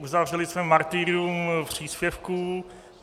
Uzavřeli jsme martyrium příspěvků.